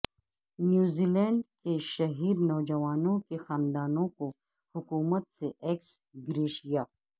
نیوزی Zealand شہید نوجوانوں کے خاندانوں کو حکومت سے ایکس گریشیا